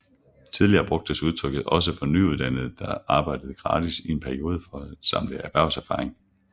Tidligere brugtes udtrykket også for nyuddannede der arbejdede gratis i en periode for at samle erhvervserfaring